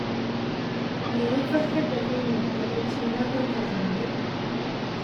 Me ya farkar da kai ne daga bacci na gan ka zaune.